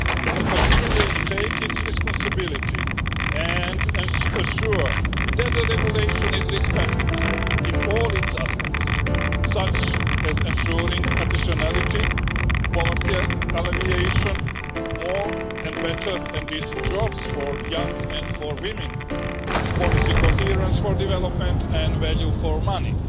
The Commission will take its responsibilities and ensure that the Regulation is respected in all its aspects, such as ensuring additionality, poverty alleviation, more and better and decent jobs for young people and for women, policy coherence for development and value for money.